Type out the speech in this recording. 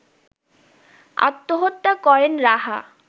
আত্মহত্যা করেন রাহা